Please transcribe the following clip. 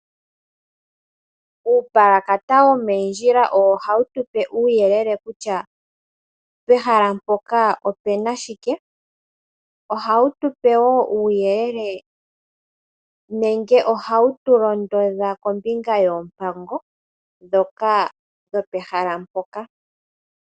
Uupalakata yomondjila owo hawu tupe uuyelele kutya pehala mpoka opuna shike, ohawu tupewo uuyelele nenge ohawu tulondodha kombinga yoompango dhoka dhopehala mpoka.